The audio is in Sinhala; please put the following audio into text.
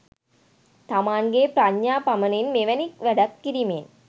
තමන්ගේ ප්‍රඥා පමනින් මෙවැනි වැඩක් කිරීමෙන්